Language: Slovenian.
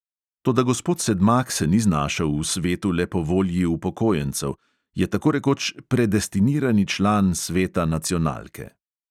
Toda gospod sedmak se ni znašel v svetu le po volji upokojencev, je tako rekoč predestinirani član sveta nacionalke.